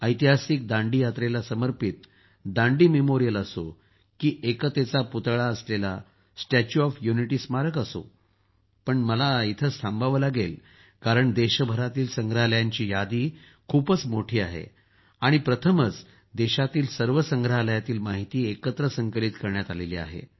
ऐतिहासिक दांडी यात्रेला समर्पित दांडी स्मारक असो की एकतेचा पुतळा स्टॅच्यु ऑफ युनिटी स्मारक असो पण मला इथंच थांबावं लागेल कारण देशभरातील संग्रहालयांची यादी खूप मोठी आहे आणि प्रथमच देशातील सर्व संग्रहालयातील माहिती एकत्र संकलित करण्यात आली आहे